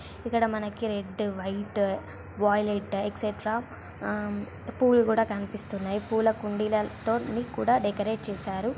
చిత్రం చూడండి సముద్రం పక్కనే విధంగా ఉన్నాయి ఇది సముద్రంలో ఒక చోటు నుంచి మరో చోటుకు వెళ్లడానికి పడవ అనేది ఉపయోగపడుతుంది సముద్రంలో స్నానం చేయవచ్చు ఈత కొట్టాలి.